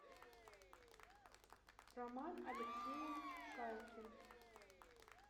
роман алексеевич шалкин